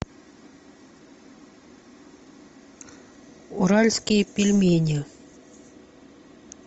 уральские пельмени